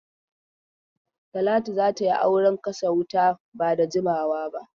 Talatu za ta yi auren kashe wuta ba da jimawa ba.